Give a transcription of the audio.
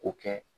K'o kɛ